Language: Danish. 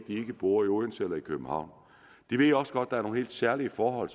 ikke bor i odense eller københavn de ved også godt at der er nogle helt særlige forhold